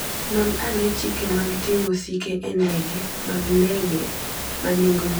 Non ane chike mag ting'o osike e ndege mag ndege ma nengogi ni piny.